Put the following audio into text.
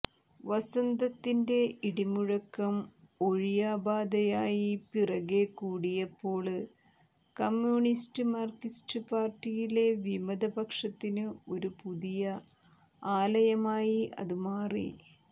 വസന്തത്തിന്റെ ഇടിമുഴക്കം ഒഴിയാബാധയായി പിറകെ കൂടിയപ്പോള് കമ്യൂണിസ്റ്റ് മാര്ക്സിസ്റ്റു പാര്ട്ടിയിലെ വിമതപക്ഷത്തിന് ഒരു പുതിയ ആലയമായി അതു മാറി